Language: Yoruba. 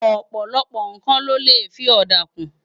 Òpòlòpò nkán lò lé fi òdá kún